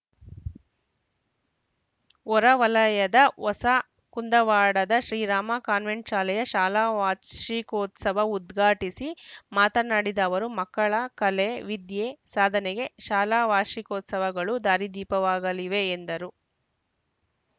ಹೊರ ವಲಯದ ಹೊಸ ಕುಂದವಾಡದ ಶ್ರೀರಾಮ ಕಾನ್ವೆಂಟ್‌ ಶಾಲೆಯ ಶಾಲಾ ವಾರ್ಷಿಕೋತ್ಸವ ಉದ್ಘಾಟಿಸಿ ಮಾತನಾಡಿದ ಅವರು ಮಕ್ಕಳ ಕಲೆ ವಿದ್ಯೆ ಸಾಧನೆಗೆ ಶಾಲಾ ವಾರ್ಷಿಕೋತ್ಸವಗಳು ದಾರಿದೀಪವಾಗಲಿವೆ ಎಂದರು